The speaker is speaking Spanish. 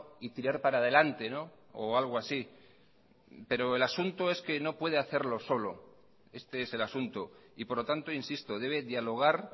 y tirar para adelante o algo así pero el asunto es que no puede hacerlo solo este es el asunto y por lo tanto insisto debe dialogar